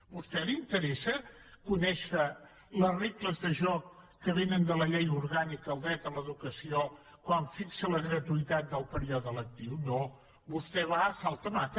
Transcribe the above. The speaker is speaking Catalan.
a vostè li interessa conèixer les regles de joc que vénen de la llei orgànica del dret a l’educació quan fixa la gratuïtat del període lectiu no vostè va a salt de mata